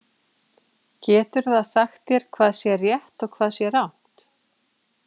Getur það sagt þér hvað sé rétt og hvað sé rangt?